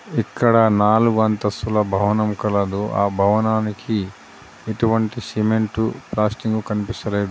ఇక్కడ నాలుగు అంతస్థుల భవనం కలదు. ఆ భవనానికి ఎటువంటి సిమెంటు ప్లాస్టింగు కనిపిస్తలేదు.